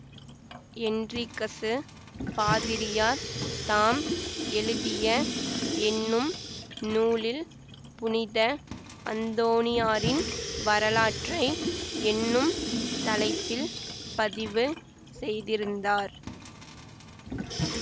Henriques பாதிரியார் தாம் எழுதிய என்னும் நூலில் புனித அந்தோனியாரின் வரலாற்றை என்னும் தலைப்பில் பதிவு செய்திருந்தார்